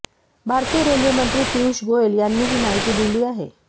भारतीय रेल्वेमंत्री पीयूष गोयल यांनी ही माहिती दिली आहे